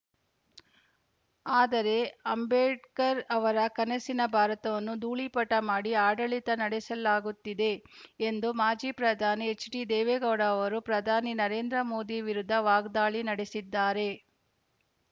ಆದರೆ ಅಂಬೇಡ್ಕರ್‌ ಅವರ ಕನಸಿನ ಭಾರತವನ್ನು ಧೂಳೀಪಟ ಮಾಡಿ ಆಡಳಿತ ನಡೆಸಲಾಗುತ್ತಿದೆ ಎಂದು ಮಾಜಿ ಪ್ರಧಾನಿ ಎಚ್‌ಡಿದೇವೇಗೌಡ ಅವರು ಪ್ರಧಾನಿ ನರೇಂದ್ರ ಮೋದಿ ವಿರುದ್ಧ ವಾಗ್ದಾಳಿ ನಡೆಸಿದ್ದಾರೆ